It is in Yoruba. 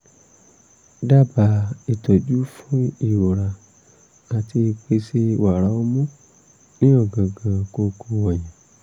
dábàá ìtọ́jú fún ìrora àti ìpèsè wàrà ọmú ní ọ̀gángán kókó ọyàn